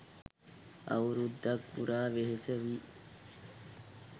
අවුරුද්දක් පුරා වෙහෙස වී